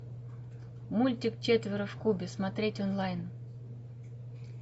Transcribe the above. мультик четверо в кубе смотреть онлайн